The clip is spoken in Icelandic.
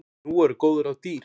Nú eru góð ráð dýr!